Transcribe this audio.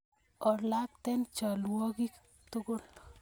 Olakten chalwogik tugul